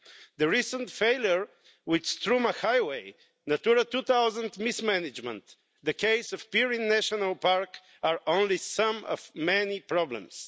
The recent failure with Struma highway, Natura 2000 mismanagement and the case of Pirin National Park are only some of many problems.